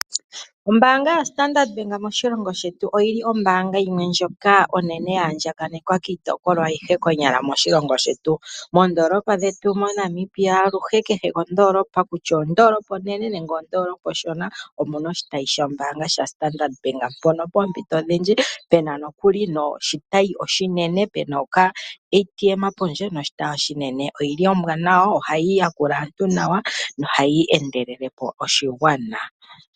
Ombaanga yaStandard Bank moshilongo shetu oyo ombaanga ndjoka ya andjakanekwa miitopolwa ayihe konyala moshilongo shetu. Moondoolopa dhetu moNamibia kutya omondoolopa onene nenge omondoolopa onshona omu na oshitayi shaStandard Bank mpono poompito odhindji pu n aoshitayi pu na okaATM pondje noshitayi oshinene. Ombwanawa nohayi yakula aantu nawa nohayi endelele po oshigwana.